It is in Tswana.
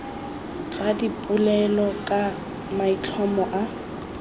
tsa dipolelo ka maitlhomo a